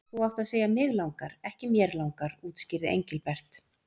Þú átt að segja mig langar, ekki mér langar útskýrði Engilbert.